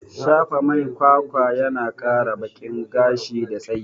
Shafa mai kwakwa yana kara bakin gashi da tsayi